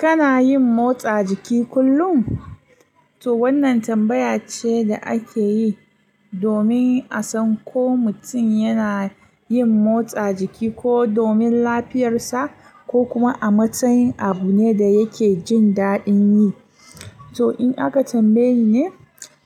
Kana yin motsa jiki kullum? To wannan tambaya ce da ake yi domin a san ko mutum yana yin motsa jiki ko domin lafiyarsa ko kuma a matsayin abu ne da yake jin daɗin yi. To in aka tambaye ni ne,